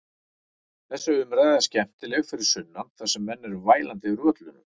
Þessi umræða er skemmtileg fyrir sunnan þar sem menn eru vælandi yfir völlunum.